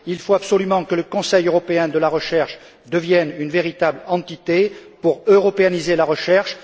Il faut absolument que le Conseil européen de la recherche devienne une véritable entité pour européaniser la recherche.